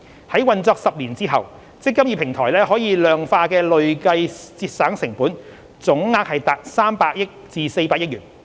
在運作10年後，"積金易"平台可量化的累計節省成本總額達300億元至400億元。